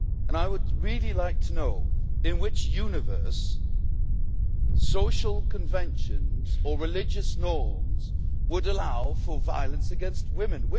I would really like to know in which universe social conventions or religious norms would allow for violence against women.